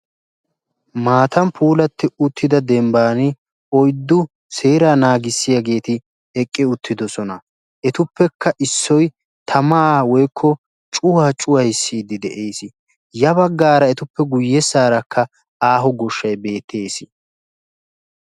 Maataan puulatti uttida dembbaan oyddu seeraa naagissiyaa xaacetti eqqi uttidosona. etupekka issoy tamaa woykko cuwaa cuwayissidi de'ees. ya baggaara etuppe guyessaara aaho goshshay beettees.